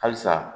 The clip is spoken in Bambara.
Halisa